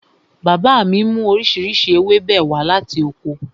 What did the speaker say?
Bàbá mi mú oríṣiríṣi ewébẹ̀ wá láti oko